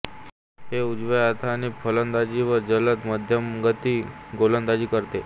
ही उजव्या हाताने फलंदाजी व जलद मध्यमगती गोलंदाजी करते